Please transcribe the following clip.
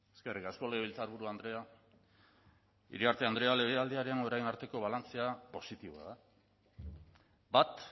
eskerrik asko legebiltzarburu andrea iriarte andrea legealdiaren orain arteko balantzea positiboa da bat